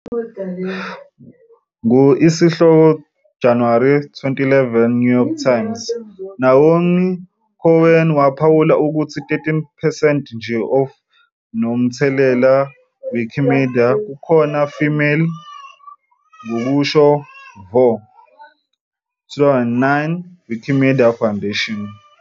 Ngo isihloko January 2011 New York Times, Noam Cohen waphawula ukuthi 13 percent nje of nomthelela Wikipedia kukhona female ngokusho vo 2009 Wikimedia Foundation.